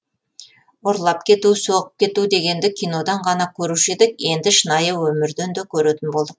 ұрлап кету соғып кету дегенді кинодан ғана көруші едік енді шынайы өмірден де көретін болдық